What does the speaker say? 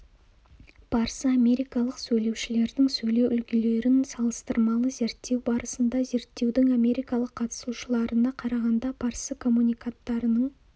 парсы-америкалық сөйлеушілердің сөйлеу үлгілерін салыстырмалы зерттеу барысында зерттеудің америкалық қатысушыларына қарағанда парсы коммуниканттарының